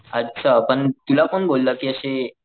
अच्छा पण तुला कोण बोललं कि अशे,